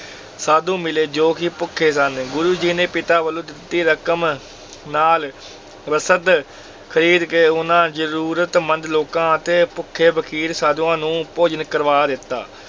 ਸਾਧੂ ਮਿਲੇ, ਜੋ ਕਿ ਭੁੱਖੇ ਸਨ, ਗੁਰੂ ਜੀ ਨੇ ਪਿਤਾ ਵੱਲੋਂ ਦਿੱਤੀ ਰਕਮ ਨਾਲ ਰਸਦ ਖਰੀਦ ਕੇ ਉਹਨਾਂ ਜ਼ਰੂਰਤਮੰਦ ਲੋਕਾਂ ਅਤੇ ਭੁੱਖੇ ਫ਼ਕੀਰ ਸਾਧੂਆਂ ਨੂੰ ਭੋਜਨ ਕਰਵਾ ਦਿੱਤਾ।